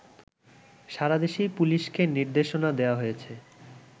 সারাদেশেই পুলিশকে নির্দেশনা দেয়া হয়েছে